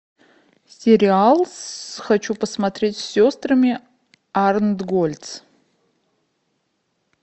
сериал хочу посмотреть с сестрами арнтгольц